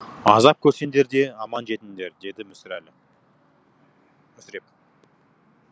азап көрсеңдер де аман жетіңдер деді мүсіреп